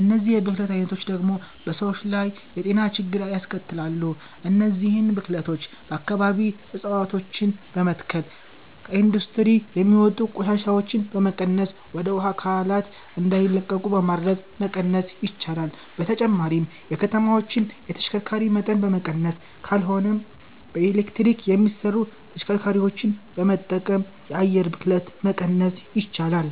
እነዚህ የብክለት አይነቶች ደግሞ በሰዎች ላይ የጤና ችግሮችን ያስከትላሉ። እነዚህን ብክለቶች በአከባቢ እፀዋቶችን በመትከል፣ ከኢንዱስትሪ የሚወጡ ቆሻሻዎችን በመቀነስና ወደ ውሃ አካላት እንዳይለቁ በማድረግ መቀነስ ይቻላል። በተጨማሪም የከተማዎችን የተሽከርካሪ መጠን በመቀነስ ካልሆነም በኤሌክትሪክ የሚሰሩ ተሽከርካሪዎችን በመጠቀም የአየር ብክለትን መቀነስ ይቻላል።